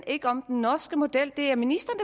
ikke om den norske model det er ministeren